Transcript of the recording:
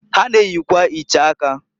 Ha na-eyikwa iche aka.